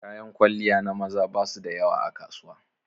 Kayan kwalliya na maza ba su da yawa a kasuwa.